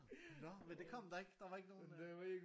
Nå men det kom der ikke? Der var ikke nogen øh